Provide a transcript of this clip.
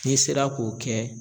N'i sera k'o kɛ